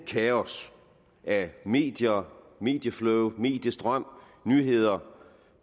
kaos af medier medieflow mediestrøm nyheder